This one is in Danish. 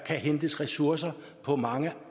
kan hentes ressourcer på mange